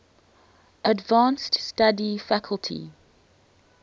advanced study faculty